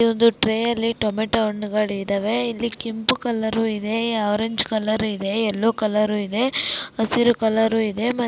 ಈ ಒಂದು ಟ್ರೇಯಲ್ಲಿ ಟೊಮೇಟೊ ಹಣ್ಣುಗಳು ಇದಾವೆ ಇಲ್ಲಿ ಕೆಂಪು ಕಲರ್ ಇದೆ ಆರೆಂಜ್ ಕಲರ್ ಇದೆ ಎಲ್ಲೋ ಕಲರ್ ಇದೆ ಹಸಿರು ಕಲರ್ ಇದೆ.